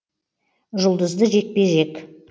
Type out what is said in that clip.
жұлдызды жекпе жек